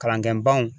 Kalanden baw